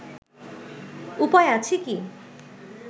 উপায় আছে কি